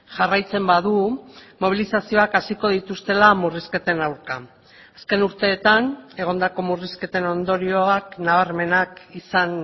jarraitzen badu mobilizazioak hasiko dituztela murrizketen aurka azken urteetan egondako murrizketen ondorioak nabarmenak izan